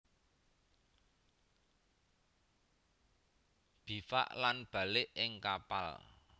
Bivak lan balik ing kapal